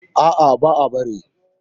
A'a, ba'a bari.